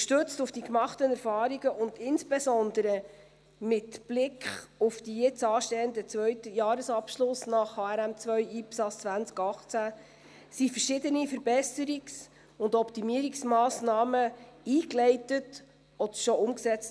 Gestützt auf die gemachten Erfahrungen und insbesondere mit Blick auf den jetzt anstehenden zweiten Jahresabschluss 2018 nach HRM2/ IPSAS wurden verschiedene Verbesserungs- und Optimierungsmassnahmen eingeleitet oder schon umgesetzt.